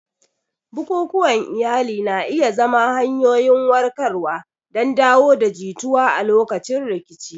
Bukukuwan iyali na iya zama hanyoyin warkarwa don dawo da jituwa a lokacin rikici.